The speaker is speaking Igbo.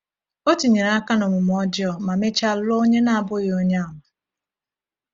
O tinyere aka n’omume ọjọọ ma mechaa lụọ onye na-abụghị Onye Àmà.